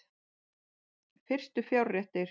Fyrstu fjárréttir